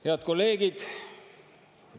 Head kolleegid!